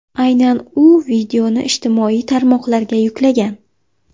Aynan u videoni ijtimoiy tarmoqlarga yuklagan.